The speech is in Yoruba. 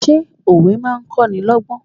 Ṣé òwe máa ń kó ni lọ́gbọ́n?